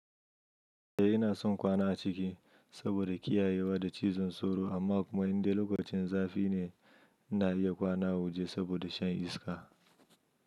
E ina son kwana a ciki saboda kiyayewa da cizon sauro amma kuma in dai lokacin zafi ne na iya kwana a waje saboda shan iska.